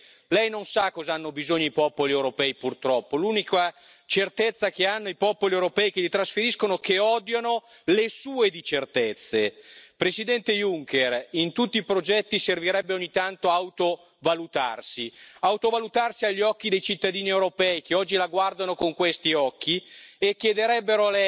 le agradezco la equivalencia entre patriotismo europeo y patriotismo inteligente por eso le pido que incluya en su programa también la reforma de la euroorden. La lista de delitos incluidos en la euroorden no se ha modificado en quince años, pero